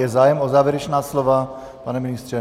Je zájem o závěrečná slova, pane ministře?